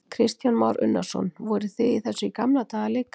Kristján Már Unnarsson: Voruð þið í þessu í gamla daga líka?